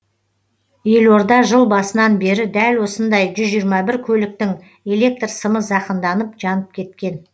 елорда жыл басынан бері дәл осындай жүз жиырма бір көліктің электр сымы зақымданып жанып кеткен